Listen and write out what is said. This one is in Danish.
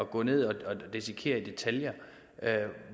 gå ned og dissekere i detaljer